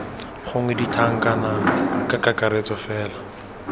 gongwe dintlhana ka kakaretso fela